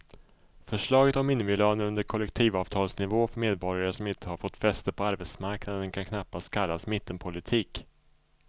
Förslaget om minimilöner under kollektivavtalsnivå för medborgare som inte har fått fäste på arbetsmarknaden kan knappast kallas mittenpolitik.